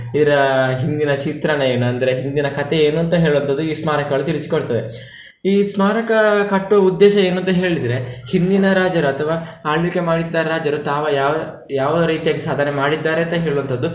ಇವ್ರ ಹಿಂದಿನ ಚಿತ್ರಣ ಏನು ಅಂದ್ರೆ, ಹಿಂದಿನ ಕಥೆ ಏನು ಅಂತ ಹೇಳುವಂಥದ್ದು ಈ ಸ್ಮಾರಕಗಳು ತಿಳಿಸಿಕೊಡ್ತವೆ. ಈ ಸ್ಮಾರಕ ಕಟ್ಟುವ ಉದ್ದೇಶ ಏನಂತ ಹೇಳಿದ್ರೆ, ಹಿಂದಿನ ರಾಜರು ಅಥವಾ ಆಳ್ವಿಕೆ ಮಾಡಿದ್ದ ರಾಜರು ತಾವು ಯಾವ ಯಾವ ರೀತಿಯಾಗಿ ಸಾಧನೆ ಮಾಡಿದ್ದಾರೆ ಅಂತ ಹೇಳುವಂತದ್ದು.